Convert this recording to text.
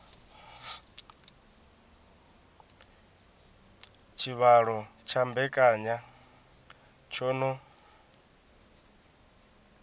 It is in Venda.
tshivhalo tsha mbekanya tsho no